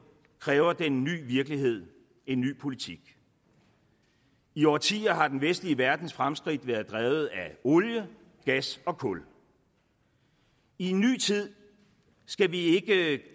kræver den nye virkelighed en ny politik i årtier har den vestlige verdens fremskridt været drevet af olie gas og kul i en ny tid skal vi ikke